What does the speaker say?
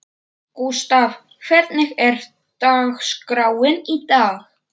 Gústav, hvernig er dagskráin í dag?